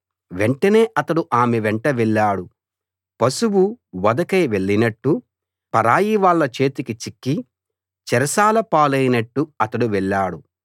వెంటనే అతడు ఆమె వెంట వెళ్ళాడు పశువు వధకై వెళ్లినట్టు పరాయివాళ్ళ చేతికి చిక్కి చెరసాల పాలైనట్టు అతడు వెళ్ళాడు